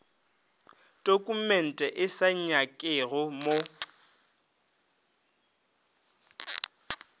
tokumente e sa nyakege mo